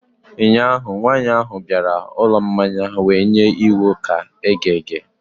ụnyahụ, nwanyị ahụ bịara ụlọ mmanya wee nye iwu ka eghe eghe